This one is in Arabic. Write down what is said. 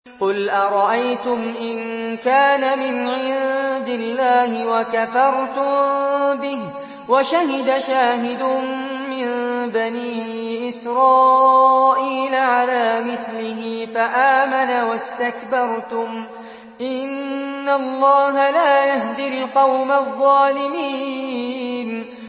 قُلْ أَرَأَيْتُمْ إِن كَانَ مِنْ عِندِ اللَّهِ وَكَفَرْتُم بِهِ وَشَهِدَ شَاهِدٌ مِّن بَنِي إِسْرَائِيلَ عَلَىٰ مِثْلِهِ فَآمَنَ وَاسْتَكْبَرْتُمْ ۖ إِنَّ اللَّهَ لَا يَهْدِي الْقَوْمَ الظَّالِمِينَ